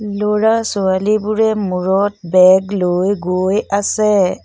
ল'ৰা ছোৱালীবোৰে মূৰত বেগ লৈ গৈ আছে।